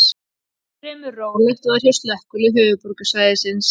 Fremur rólegt var hjá Slökkviliðið höfuðborgarsvæðisins